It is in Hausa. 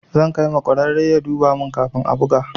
Zan kai ma ƙwararre ya duba mun kafin a buga.